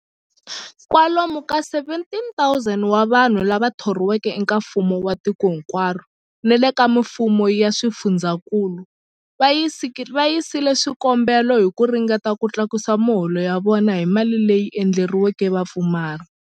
Kwalomu ka 17,000 wa vanhu lava thoriweke eka mfumo wa tiko hinkwaro ni le ka mifumo ya swifundzankulu va yisile swikombelo hi ku ringeta ku tlakusa miholo ya vona hi mali leyi endleriweke vapfumari.